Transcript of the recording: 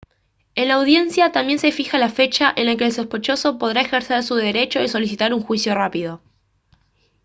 en la audiencia también se fija la fecha en la que el sospechoso podrá ejercer su derecho de solicitar un juicio rápido